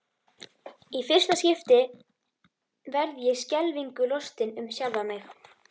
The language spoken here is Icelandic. Í fyrsta skipti verð ég skelfingu lostin um sjálfa mig.